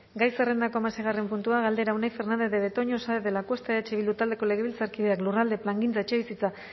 gai zerrendako hamaseigarren puntua galdera unai fernandez de betoño saenz de lacuesta eh bildu taldeko legebiltzarkideak lurralde plangintza etxebizitza